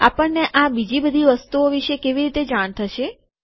આપણને આ બીજી બધી વસ્તુઓ વિશે કેવી રીતે જાણ થશે